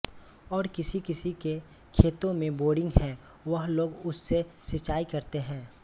और किसी किसी के खेतों में बोरिंग है वह लोग उस से सिंचाई करते हैं